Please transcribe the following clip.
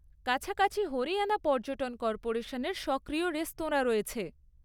কাছাকাছি হরিয়ানা পর্যটন কর্পোরেশনের সক্রিয় রেস্তোরাঁ রয়েছে।